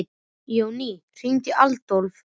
Jonný, hringdu í Adólf.